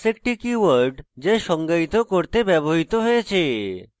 class একটি keyword যা সংজ্ঞায়িত করতে ব্যবহৃত হয়েছে